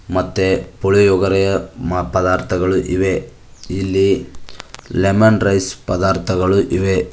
ಮತ್ತೆ ಪುಳಿಯೋಗರೆ ಪದಾರ್ಥಗಳು ಇವೆ ಇಲ್ಲಿ ಲೆಮನ್ ರೈಸ್ ಪದಾರ್ಥಗಳು ಇವೆ.